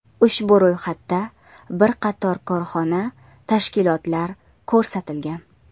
Ushbu ro‘yxatda bir qator korxona, tashkilotlar ko‘rsatilgan.